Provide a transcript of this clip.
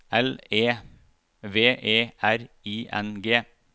L E V E R I N G